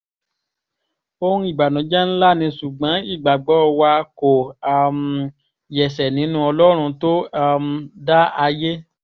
ohun ìbànújẹ́ ńlá ni ṣùgbọ́n ìgbàgbọ́ wa kò um yẹsẹ̀ nínú ọlọ́run tó um dá ayé